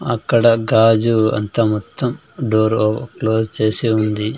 అక్కడ గాజు అద్దం మొత్తం డోరు క్లోజ్ చేసి ఉంది.